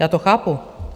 Já to chápu.